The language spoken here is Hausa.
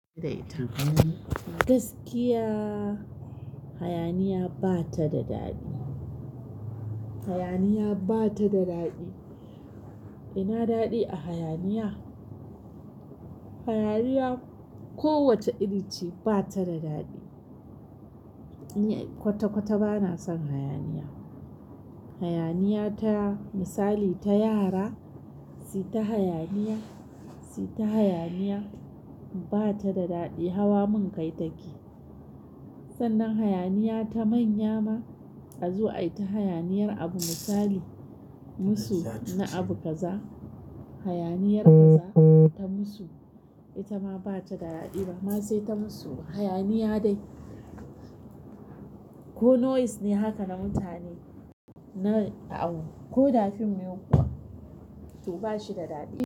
Gaskiya, hayaniya ba ta da daɗi. Hayaniya ba ta da daɗi. Ina daɗi a hayaniya? Hayaniya ko wace irin ce ba ta da daɗi. Ni kwata-kwata ba na son hayaniya. Hayaniya ta misali ta yara, suyi ta hayaniya, suyi ta hayaniya ba ta da daɗi. Hawa mun kai take. Sannan hayaniya ta manya ma, a zo a yi ta hayaniyar abu misali, musu na abu kaza, hayaniyar kaza ta musu, ita ma ba ta da daɗi ba. Ma sai ta musu hayaniya dai. Ko noise ne haka na mutane, na ko da fim ne kuwa, to ba shi da daɗi.